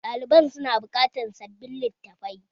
Ɗaliban su na buƙatar sabbin littafai